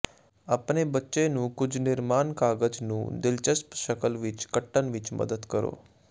ਆਪਣੇ ਬੱਚੇ ਨੂੰ ਕੁਝ ਨਿਰਮਾਣ ਕਾਗ਼ਜ਼ ਨੂੰ ਦਿਲਚਸਪ ਸ਼ਕਲ ਵਿਚ ਕੱਟਣ ਵਿਚ ਮਦਦ ਕਰੋ